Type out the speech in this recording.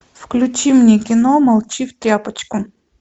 включи мне кино молчи в тряпочку